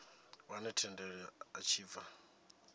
wane thendelo a tshi bva